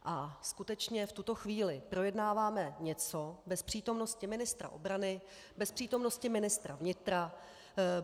A skutečně v tuto chvíli projednáváme něco bez přítomnosti ministra obrany, bez přítomnosti ministra vnitra.